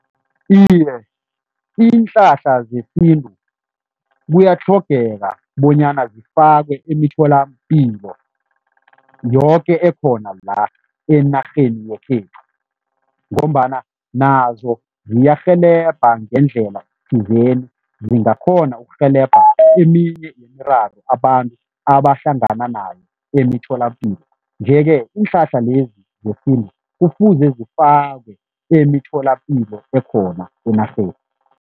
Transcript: Iye, iinhlahla zesintu kuyatlhogeka bonyana zifakwe emitholampilo, yoke ekhona la enarheni yekhethu ngombana nazo ziyarhelebha ngendlela thizeni, zingakhoni ukurhelebha eminye imiraro abantu abahlangana nayo emitholapilo nje-ke, iinhlahla lezi zesintu kufuze zifakiwe emitholapilo ekhona enarheni.